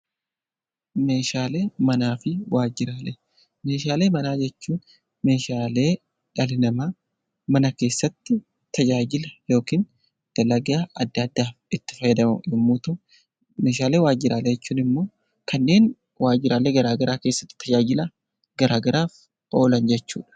Meeshaalee manaa jechuun meeshaalee dhalli namaa mana keessatti tajaajila yookiin dalagaa adda addaa itti fayyadamu yommuu ta'u, meeshaalee waajjiraalee jechuun immoo kanneen waajjiraalee garaa garaa keessatti tajaajila garaa garaaf oolan jechuudha.